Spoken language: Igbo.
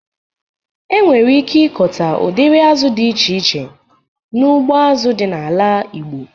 E nwere ike ịkọta udiri azụ dị iche iche n'ugbo azụ dị n'ala igbo